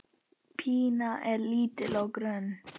Pína er lítil og grönn.